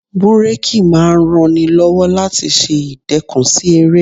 Búrákì máa ń ran ni lọ́wọ́ láti ṣe ìdẹkùn sí eré.